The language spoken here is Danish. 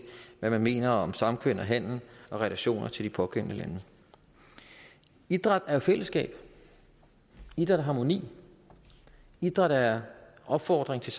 hvad man mener om samkvem handel og relationer til de pågældende lande idræt er jo fællesskab idræt er harmoni idræt er opfordring til